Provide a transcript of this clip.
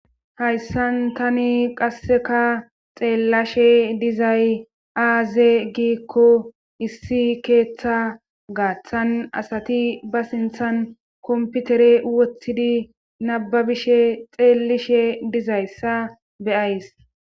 Hayssan tani qasseka xeellashe dizay aaze giikko issi keeththa gaaththan asati ba sinthan komputere woththidi nababishe xeellishe dizayssa beyays